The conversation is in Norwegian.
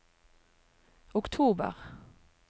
oktober